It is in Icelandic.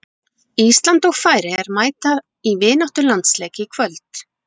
Ísland og Færeyjar mæta í vináttulandsleik í kvöld.